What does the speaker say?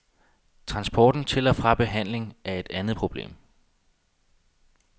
Transporten til og fra behandling er et andet problem.